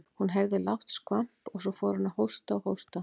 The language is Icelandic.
Hún heyrði lágt skvamp og svo fór hann að hósta og hósta.